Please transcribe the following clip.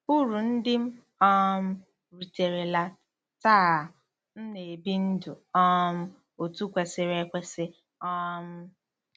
URU NDỊ M um RITERELA: Taa, m na-ebi ndụ um otú kwesịrị ekwesị um.